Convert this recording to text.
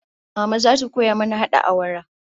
Mama zata koya mana hada awara